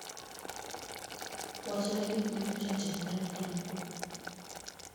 wachna gik ma nyocha otimore franco